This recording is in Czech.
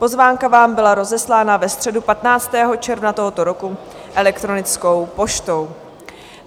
Pozvánka vám byla rozeslána ve středu 15. června tohoto roku elektronickou poštou.